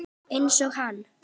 Einsog hann.